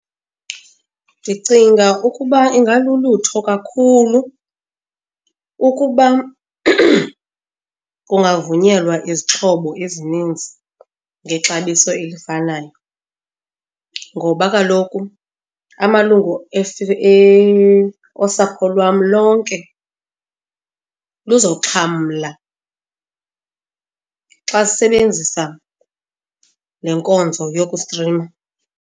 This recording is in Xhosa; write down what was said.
Ndicinga ukuba ingalulutho kakhulu ukuba kungavunyelwa izixhobo ezininzi ngexabiso elifanayo ngoba kaloku amalungu osapho lwam lonke luzoxhamla xa sisebenzisa le nkonzo yokustrima.